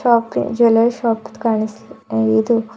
okay jewellery shop ದು ಕಾಣಿಸ್ಲ ಇದು--